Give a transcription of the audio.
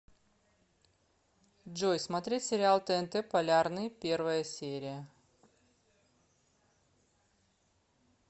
джой смотреть сериал тнт полярный первая серия